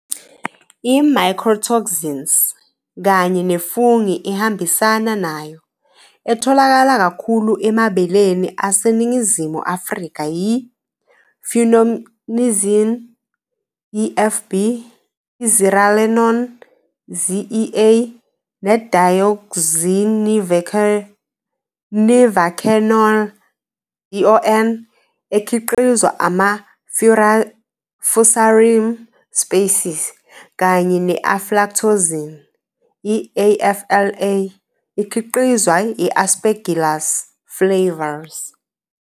I-mycotoxins, kanye ne-fungi ehambisana nayo, etholakala kakhulu emabeleni aseNingizimu Afrika yi- Fumonisin, i-FB, i-zearalenone, ZEA, ne-deaoxynivakenol, DON, ekhiqizwa ama-Fusarium species] kanye ne-aflatoxin, i-AFLA, ikhiqizwa Aspergillus flavus.